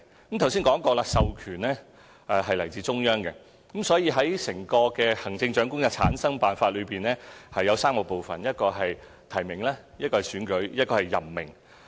我剛才說過，授權是來自中央，所以整個行政長官的產生辦法分3部分：提名、選舉及任命。